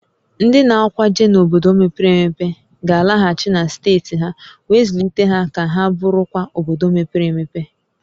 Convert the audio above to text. Ndị na-akwaje n'obodo mepere emepe ga-alaghachi na steeti ha wee zụlite ha ka ha bụrụkwa obodo mepere emepe